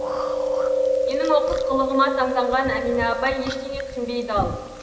менің оқыс қылығыма таңданған әмина апай ештеңе түсінбей дал